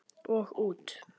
Og út.